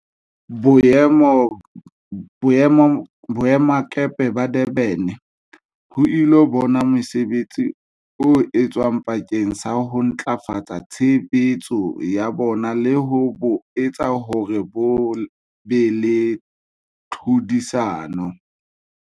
Boemakepe ba Durban ho ilo bona mosebetsi o etswang bakeng sa ho ntlafatsa tshebetso ya bona le ho bo etsa hore bo be le tlhodisano.